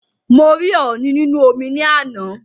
Mo rí ọ̀ọ̀nì nínú omi ní àná